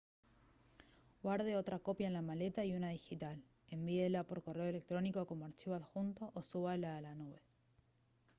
guarde otra copia en la maleta y una digital envíela por correo electrónico como archivo adjunto o súbala a la «nube»